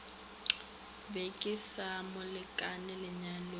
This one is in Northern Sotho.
be ke se molekane lenyalong